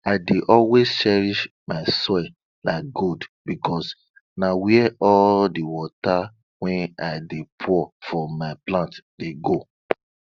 i dey always cherish my soil like gold because na where all di water wey i dey pour for my plant dey go